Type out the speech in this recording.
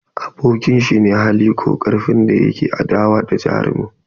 Abokin shi ne hali ko karfin da ke adawa da jarumin.